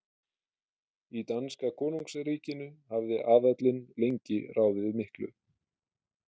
Í danska konungsríkinu hafði aðallinn lengi ráðið miklu.